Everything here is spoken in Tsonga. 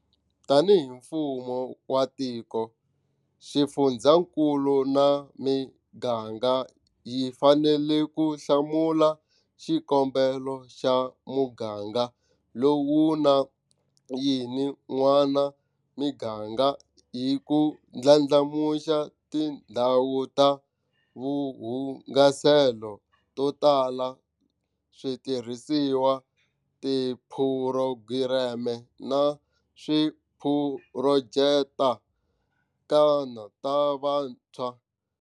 Tanihi mfumo wa tiko, xifundzakulu na miganga hi fanele ku hlamula xikombelo xa muganga lowu na yini n'wana miganga hi ku ndlandlamuxa tindhawu ta vuhungaselo to tala, switirhisiwa, tiphurogireme, na tiphurojeke ta vantshwa.